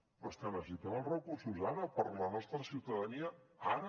però és que necessitem els recursos ara per a la nostra ciutadania ara